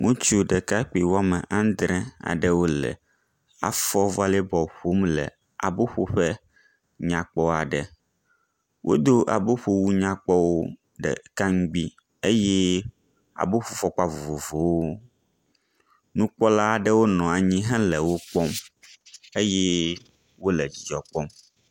ŋutsu ɖekakpi wɔme andrē aɖewo le afɔ bɔl ƒom le abó ƒoƒe nyakpɔ aɖe wó dó abó ƒowu nyakpɔwo ɖekaŋgbi eye abó ƒo fɔkpa vovovowo nukpɔla aɖewo nɔanyi hele wókpɔm eye wóle dzidzɔkpɔm